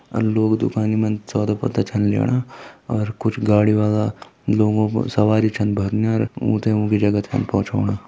अर लोग दुकानि मा पत्ता छन ल्योणा और कुछ गाड़ी वाला लोगों कू सवारी छन भरन्या अर उथें उंकि जगह तक पहुँचोण।